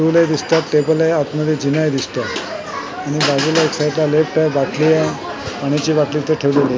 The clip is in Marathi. स्टूलही दिसतात टेबल आहे आतमध्ये जिनाही दिसतोय आणि बाजूला एक साईडला लिफ्ट आहे बाटली आहे पाण्याची बाटली इथे ठेवलेली आहे .